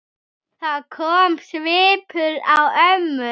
Þá kom svipur á ömmu.